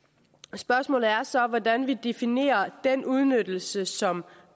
spørgsmålet er så hvordan vi definerer den udnyttelse som